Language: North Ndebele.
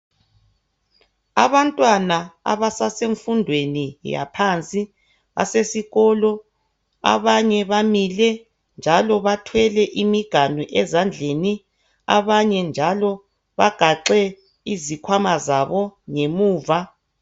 Abantwana abasasemfundweni yaphansi basesikolo. Abanye bamile njalo bathwele imiganu ezandleni. Abanye njalo bagaxe izikhwama zabo ngemuva.